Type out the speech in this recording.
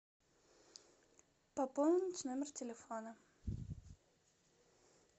пополнить номер телефона